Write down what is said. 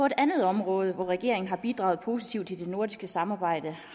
et andet område hvor regeringen har bidraget positivt til det nordiske samarbejde